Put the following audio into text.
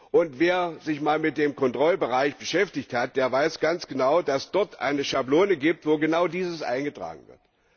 Und wer sich mal mit dem Kontrollbereich beschäftigt hat, der weiß ganz genau, dass es dort eine Schablone gibt, wo genau dieses eingetragen wird.